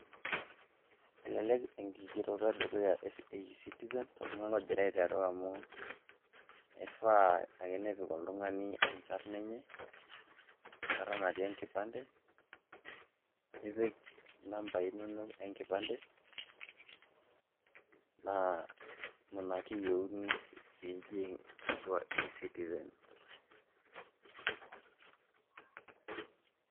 Elelek enkigereto e dukuya e eCitizen toltung'ani lojira aiteru amu ifaa ake nepik oltung'ani enkarna enye, enkarna natii enkipande, nipik inambai inonok enkipande naa inana ake eyeuni pii ijing' atua eCitizen.